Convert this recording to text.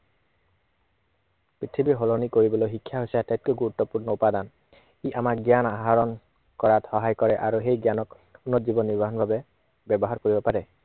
পৃথিৱী সলনি কৰিবলৈ শিক্ষাই হৈছে আটাইতকৈ গুৰুত্বপূৰ্ণ উপাদান। ই আমাৰ জ্ঞান আহৰণ কৰাত সহায় কৰে আৰু সেই জ্ঞানক উন্নত জীৱন নিৰ্বাহৰ বাবে ব্য়ৱহাৰ কৰিব পাৰে।